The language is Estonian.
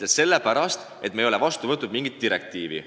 Ja sellepärast, et me ei ole vastu võtnud mingit direktiivi.